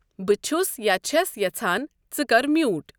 بہٕ چُھس یا چھَس یژھان ژٕ کَر میوٗٹ